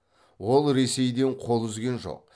ол ресейден қол үзген жоқ